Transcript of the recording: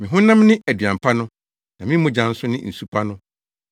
Me honam ne aduan pa no, na me mogya nso ne nsu pa no.